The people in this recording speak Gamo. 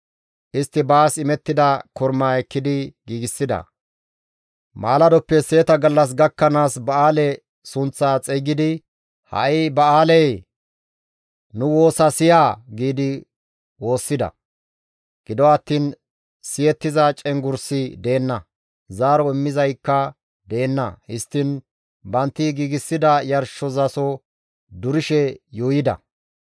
Istti baas imettida kormaa ekkidi giigsida. Maaladoppe seeta gallas gakkanaas Ba7aale sunththaa xeygidi, «Ha7i Ba7aalee! Nu woosa siya» giidi woossida; gido attiin siyettiza cenggurssi deenna; zaaro immizaykka deenna. Histtiin bantti giigsida yarshizaso durishe yuuyida.